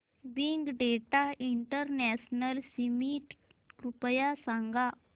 big data international summit कृपया सांगा